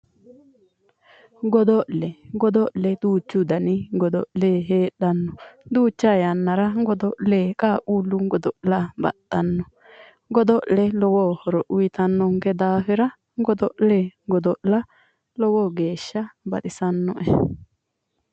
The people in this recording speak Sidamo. Godo'le godo'le duuchu dani godo'le heedhanno. duucha yannara godo'le qaaqquullu godo'le baxxanno. godo'le lowo horo uuyiitannonke daafira godo'le godo'la lowo geeshsha baxisannoe.